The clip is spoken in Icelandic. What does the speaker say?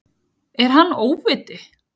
Er hann óviti?